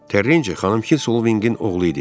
Terecini xanım Kinsoviqin oğlu idi.